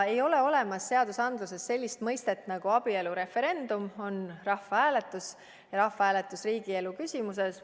Ei ole olemas seadustes sellist mõistet nagu abielureferendum, on rahvahääletus riigielu küsimuses.